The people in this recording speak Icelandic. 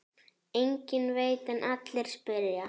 Enginn veit en allir spyrja.